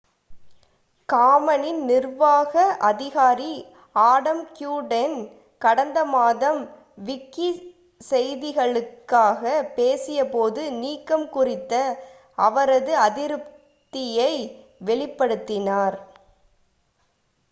காமனின் நிர்வாக அதிகாரி Adam Cuerden கடந்த மாதம் விக்கி செய்திகளுக்காக பேசிய போது நீக்கம் குறித்த அவரது அதிருப்தியை வெளிப்படுத்தினார்